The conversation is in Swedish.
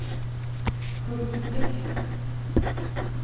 Curt Blixt